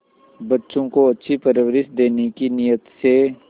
बच्चों को अच्छी परवरिश देने की नीयत से